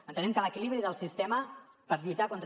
entenem que l’equilibri del sistema per lluitar contra